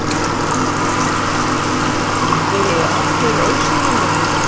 Þeir eru allir ósýnilegir.